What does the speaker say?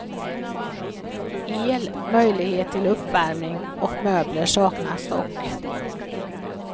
El, möjlighet till uppvärmning och möbler saknas dock.